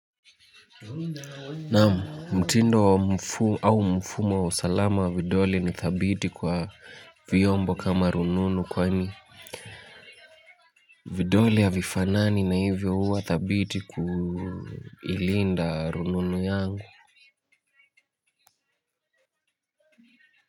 Naam mtindo wa mfu au mfumo wa usalama wa vidole ni thabiti kwa vyombo kama rununu kwani? Vidole haifanani na hivyo huwa thabiti kuilinda rununu yangu?